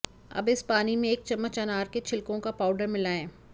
अब इस पानी में एक चम्मच अनार के छिलकों का पाउडर मिलाएं